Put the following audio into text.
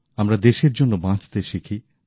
আমরা দেশের জন্য বাঁচতে শিখি